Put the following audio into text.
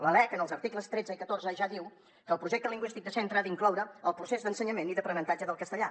la lec en els articles tretze i catorze ja diu que el projecte lingüístic de centre ha d’incloure el procés d’ensenyament i d’aprenentatge del castellà